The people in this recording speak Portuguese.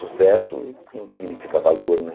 Sucesso não significa valor, né?